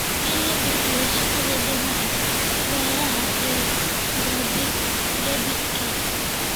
In la kordhiyo shaqada dhinaca beeraha iyo gaadiidka.